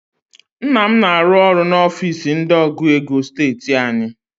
Nna m na-arụ ọrụ n'ofiisi ndị ọgụ ego steeti anyị